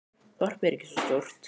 Þorpið er ekki svo stórt.